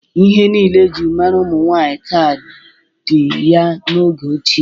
Ihe niile e ji mara ụmụ nwaanyị taa dị ya n'oge ochie.